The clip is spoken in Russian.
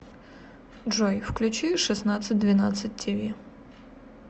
джой включи шестандцать двенадцать ти ви